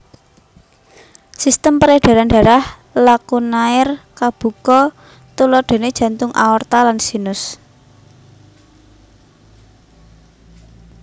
Sistem peredaran darah lakunair kabuka tuladhané jantung aorta lan sinus